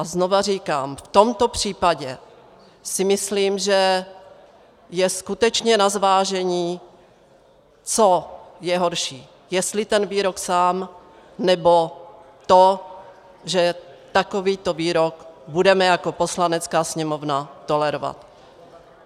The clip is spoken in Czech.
A znovu říkám, v tomto případě si myslím, že je skutečně na zvážení, co je horší, jestli ten výrok sám, nebo to, že takovýto výrok budeme jako Poslanecká sněmovna tolerovat.